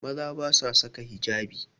Maza ba su saka hijabi